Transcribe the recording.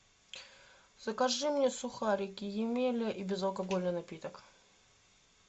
закажи мне сухарики емеля и безалкогольный напиток